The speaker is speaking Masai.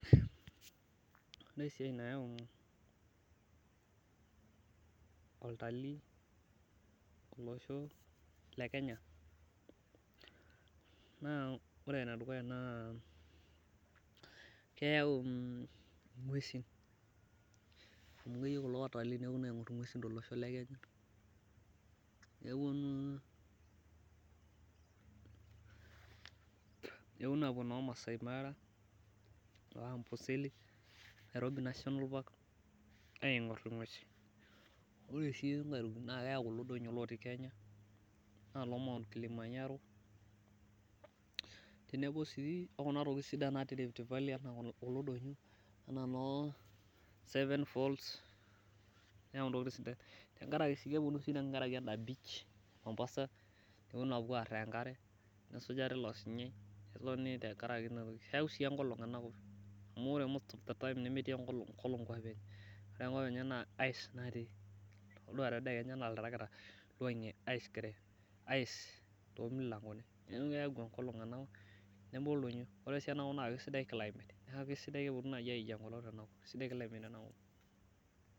Oree esiai nayau olatalii olosho le Kenya, naa ore ene dukuya naa keyau ing'uesin, amu keyeu kulo iltalii neponu ang'or ing'uesin tele osho le Kenya, neponu apuo noo Masai Mara noo Amboseli ,Nairobi national park aing'orr ing'uesi ,oree oshi naa keyau kulo donyo otii Kenya enaa loo Mount Kilimanjaro teneboo sii okuna tokiting' sidan naati Rift Valley naijo kulo enaa noo seven fall nayu intokitin sidan, keponu sii tengaraki endaa beach Mombasa peeponu apuo arr enkare neisuja teilo sinyai tengaraki inqtoki, keyau sii enkolong' ena kop amu metii enkolong' enkop enye, ore enkop enye na ice natii, toduaa tedekenya naa oltarakita oiywang'iee ice toomilangoni ,neyau enkolong'ena koptenebo oldonyo, keyau sii climate neeku kesidai neku keponu aijii enkolong' tena kop, kesidai climate tena kop.